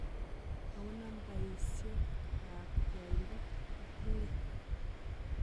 Ako nambaisiek ak yaaindo koting'ee